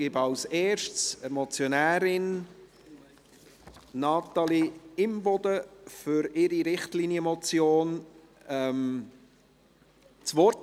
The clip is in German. Ich gebe zuerst der Motionärin Natalie Imboden für ihre Richtlinienmotiondas Wort.